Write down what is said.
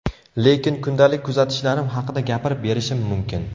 Lekin kundalik kuzatishlarim haqida gapirib berishim mumkin.